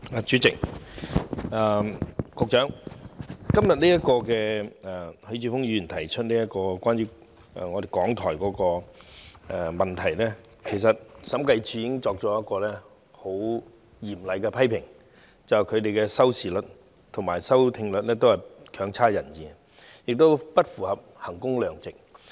主席，局長，關於許智峯議員今天提出這項有關港台的質詢，其實審計署已經作出嚴厲批評，指他們的收視率和收聽率都欠佳，不符合衡工量值原則。